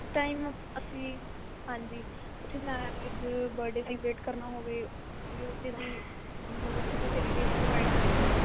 time ਅਸੀਂ ਹਾਂਜੀ ਉੱਥੇ like ਜੇ birthday celebrate ਕਰਨਾ ਹੋਵੇ ਉਹ ਵੀ ਮਤਲਬ ਉੱਥੇ facilities provide ਕਰਦੇ ਨੇ ਉਹ